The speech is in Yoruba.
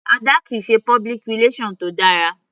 Ada kìí ṣe public relation tó dára.